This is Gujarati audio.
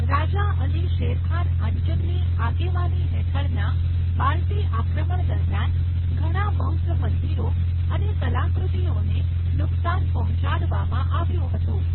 રાજા અલી શેરખાન આંચનની આગેવાની હેઠળના બાલ્ટી આક્રમણ દરમિયાન, ઘણા બૌદ્ધ મંદિરો અને કલાકૃતિઓને નુકસાન પહોંચાડવામાં આવ્યું હતું.